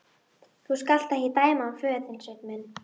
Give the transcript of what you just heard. Þú skalt ekki dæma hann föður þinn, Sveinn minn.